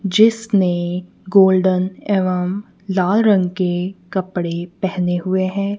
जिसने गोल्डन एवं लाल रंग के कपड़े पहने हुए हैं।